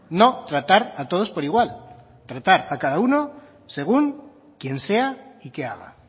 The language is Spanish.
no tratar a todos por igual tratar a cada uno según quién sea y qué haga